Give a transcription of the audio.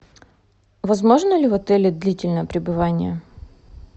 возможно ли в отеле длительное пребывание